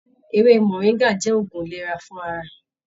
Ewé moringa jẹ òògùn ìlera fún ara.